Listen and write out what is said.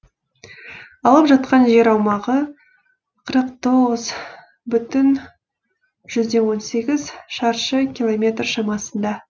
алып жатқан жер аумағы қырық тоғыз бүтін жүзден он сегіз шаршы километр шамасында